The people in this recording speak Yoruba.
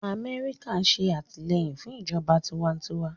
Amẹ́ríkà ń ṣe àtìlẹ́yìn fún ìjọba ìjọba tiwantiwa